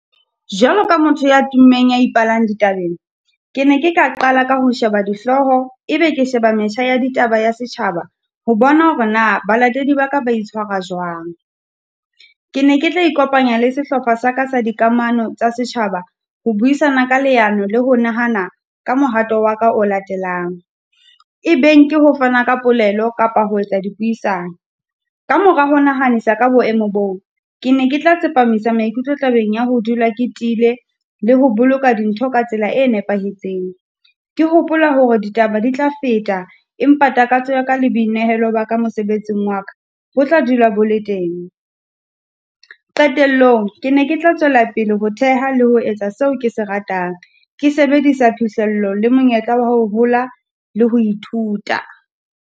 Jwalo ka motho ya tummeng ya ipalang ditabeng, ke ne ke ka qala ka ho sheba dihloho, ebe ke sheba metjha ya ditaba ya setjhaba, ho bona hore na balatedi ba ka ba itshwara jwang. Ke ne ke tla ikopanya le sehlopha sa ka sa dikamano tsa setjhaba ho buisana ka leano le ho nahana ka mohato wa ka o latelang. E beng ke ho fana ka polelo kapa ho etsa dipuisano. Ka mora ho nahanisa ka boemo boo, ke ne ke tla tsepamisa maikutlo tabeng ya ho dula ke tiile, le ho boloka dintho ka tsela e nepahetseng. Ke hopola hore ditaba di tla feta, empa takatso ya ka le boinehelo ba ka mosebetsing wa ka, bo tla dula bo le teng. Qetellong, ke ne ke tla tswela pele ho theha le ho etsa seo kese ratang, ke sebedisa phihlello le monyetla wa ho hola le ho ithuta.